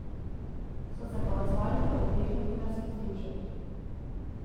So se pa odzvali v obeh novinarskih združenjih.